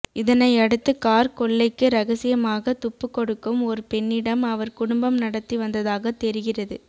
இதனையடுத்து கார் கொள்ளைக்கு இரகசியமாக துப்பு கொடுக்கும் ஒரு பெண்ணிடம் அவர் குடும்பம் நடத்தி வந்ததாக தெரிகிறது